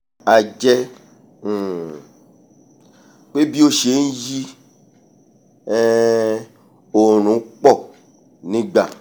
a jẹ́ um pé bí ó ṣe nyí um òòrùn po nígbà